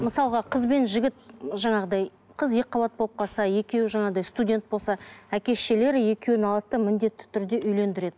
мысалға қыз бен жігіт жаңағыдай қыз екіқабат болып қалса екеуі жаңағыдай студент болса әке шешелері екеуін алады да міндетті түрде үйлендіреді